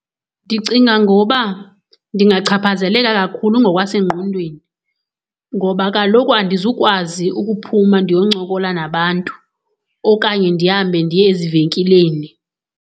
Ndicinga ngoba ndingachaphazeleka kakhulu ngokwasengqondweni ngoba kaloku andizukwazi ukuphuma ndiyoncokola nabantu, okanye ndihambe ndiye ezivenkileni.